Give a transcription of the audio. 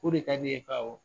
O de ka d'e ye ? Ko awɔ.